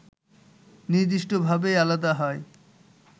নির্দিষ্টভাবেই আলাদা হয়